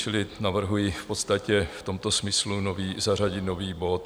Čili navrhuji v podstatě v tomto smyslu zařadit nový bod.